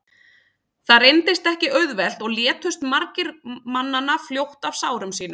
það reyndist ekki auðvelt og létust margir mannanna fljótt af sárum sínum